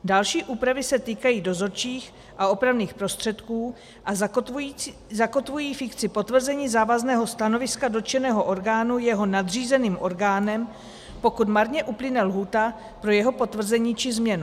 Další úpravy se týkají dozorčích a opravných prostředků a zakotvují fikci potvrzení závazného stanoviska dotčeného orgánu jeho nadřízeným orgánem, pokud marně uplyne lhůta pro jeho potvrzení či změnu.